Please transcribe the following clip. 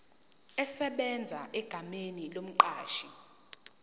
esebenza egameni lomqashi